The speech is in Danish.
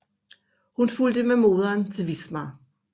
Hun fulgte med moderen til Wismar